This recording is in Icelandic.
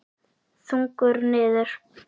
Þungur niður.